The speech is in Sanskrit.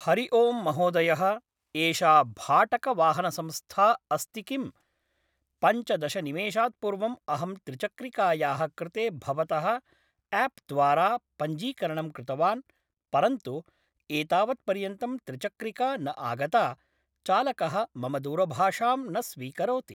हरि ओं महोदयः एषा भाटकवाहनसंस्था अस्ति किं पञ्चदशनिमिशात्पूर्वं अहं त्रिचक्रिकायाः कृते भवतः एप्द्वारा पञ्जिकरणं कृतवान् परन्तु एतावत् पर्यन्तं त्रिचक्रिका न आगता चालकः मम दूरभाषां न स्वीकरोति